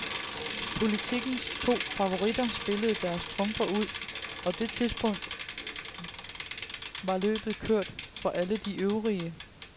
Politikens to favoritter spillede deres trumfer ud, og fra det tidspunkt var løbet kørt for alle de øvrige.